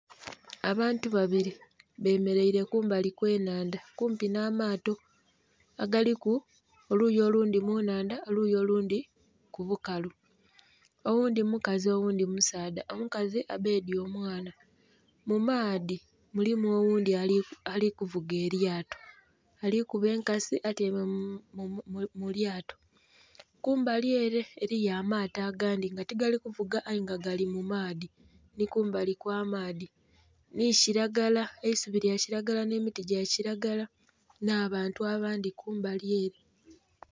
Abantu babiri bameraire kumbali okw'enhandha kumpi nh'amaato agaliku oluyi olundhi munnhandha oluyi olundhi kubukalu oghundhi mukazi oghundhi musaadha, omukazi abedhye omwana. Mumaadhi mulimu oghundhi alivuga elyato alikuba enkasi atyaime mulyato, kumbali ere eriyo amaato agandhi nga tigaali kuvuga aye nga gali mumaadhi nikumbali okw'amaadhi nikiragala eisubi lyakiragala n'emiti gyakiragala n'abantu abandhi kumbali ere.